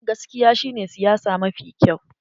Gaskiya shi ne siyasa mafi kyau.